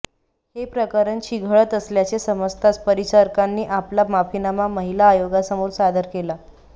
हे प्रकरण चिघळत असल्याचे समजताच परिचारकांनी आपला माफीनामा महिला आयोगासमोर सादर केला